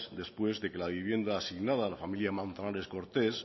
después de que la vivienda asignada a la familia manzanares cortés